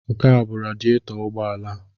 Nke a bụ radietọ ụgbọala a.